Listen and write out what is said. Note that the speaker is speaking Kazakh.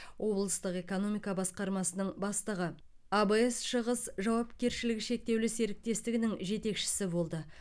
облыстық экономика басқармасының бастығы абс шығыс жауапкершілігі шектеулі серіктестігінің жетекшісі болды